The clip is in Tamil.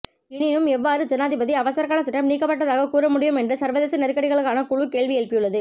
எனினும் எவ்வாறு ஜனாதிபதி அவசரகால சட்டம் நீக்கப்பட்டதாக கூறமுடியும் என்று சர்வதேச நெருக்கடிகளுக்கான குழு கேள்வி எழுப்பியுள்ளது